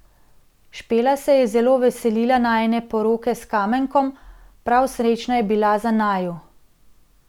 Špela se je zelo veselila najine poroke s Kamenkom, prav srečna je bila za naju.